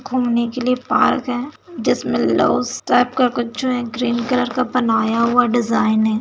घूमने के लिए पार्क है जिसमें लव्स टाइप का कुछ जो है ग्रीन कलर का बनाया हुआ डिज़ाइन है।